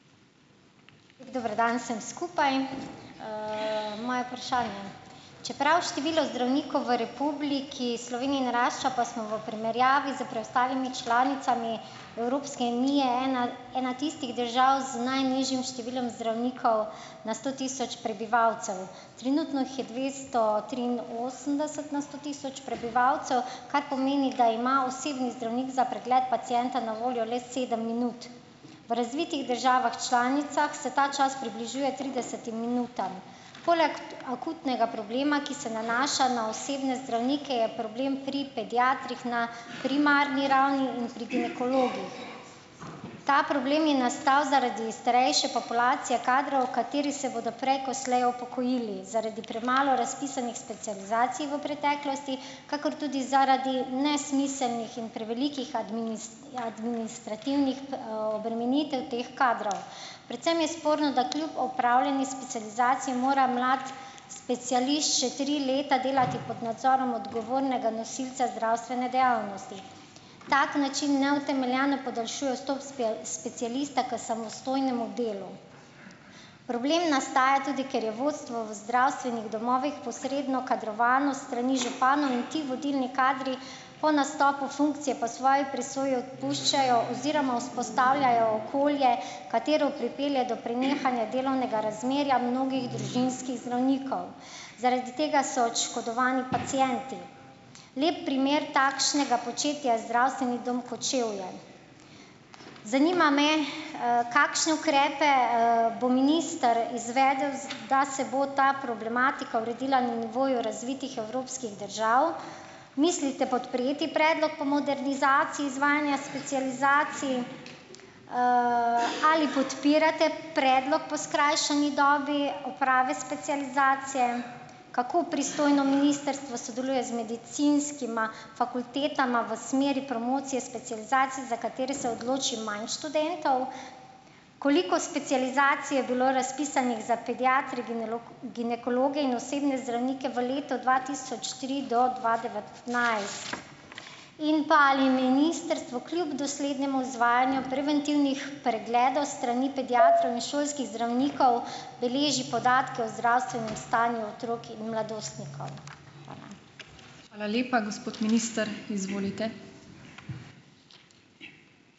Dober dan vsem skupaj. Moje vprašanje: Čeprav število zdravnikov v Republiki Sloveniji narašča, pa smo v primerjavi s preostalimi članicami Evropske unije ena ena tistih držav z najnižjim številom zdravnikov na sto tisoč prebivalcev. Trenutno jih je dvesto triinosemdeset na sto tisoč prebivalcev, kar pomeni, da ima osebni zdravnik za pregled pacienta na voljo le sedem minut. V razvitih državah članicah se ta čas približuje tridesetim minutam. Poleg akutnega problema, ki se nanaša na osebne zdravnike, je problem pri pediatrih na primarni ravni in pri ginekologih. Ta problem je nastal zaradi starejše populacije kadrov, kateri se bodo prej ko slej upokojili. Zaradi premalo razpisanih specializacij v preteklosti, kakor tudi zaradi nesmiselnih in prevelikih administrativnih, obremenitev teh kadrov. Predvsem je sporno, da kljub opravljeni specializaciji mora mlad specialist še tri leta delati pod nadzorom odgovornega nosilca zdravstvene dejavnosti. Tak način neutemeljeno podaljšuje vstop specialista k samostojnemu delu. Problem nastaja tudi, ker je vodstvo v zdravstvenih domovih posredno kadrovano s strani županov, in ti vodilni kadri po nastopu funkcije po svoji presoji odpuščajo oziroma vzpostavljajo okolje, katero pripelje do prenehanja delovnega razmerja mnogih družinskih zdravnikov. Zaradi tega so oškodovani pacienti. Lep primer takšnega početja je Zdravstveni dom Kočevje. Zanima me: Kakšne ukrepe, bo minister izvedel, da se bo ta problematika uredila na nivoju razvitih evropskih držav? Mislite podpreti predlog po modernizaciji izvajanja specializacij? Ali podpirate predlog po skrajšani dobi oprave specializacije? Kako pristojno ministrstvo sodeluje z medicinskima fakultetama v smeri promocije specializacije, za katere se odloči manj študentov? Koliko specializacij je bilo razpisanih za pediatre, ginekologe in osebne zdravnike v letu dva tisoč tri do dva devetnajst? In pa ali ministrstvo kljub doslednemu izvajanju preventivnih pregledov s strani pediatrov in šolskih zdravnikov beleži podatke o zdravstvenem stanju otrok in mladostnikov? Hvala.